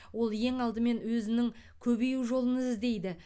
ол ең алдымен өзінің көбею жолын іздейді